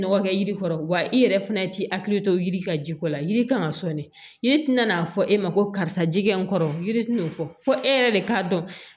Nɔgɔ kɛ yiri kɔrɔ wa i yɛrɛ fana i t'i hakili to yiri ka ji kɔ la yiri kan ka sɔn de yiri tɛna n'a fɔ e ma ko karisa ji kɛ n kɔrɔ yiri tɛna fɔ e yɛrɛ de k'a dɔn